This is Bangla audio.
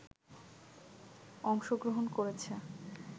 অংশগ্রহণ করেছে